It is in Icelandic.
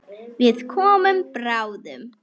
Við komum bráðum.